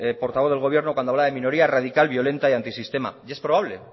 portavoz del gobierno cuando hablaba de minoría radical violenta y antisistema y es probable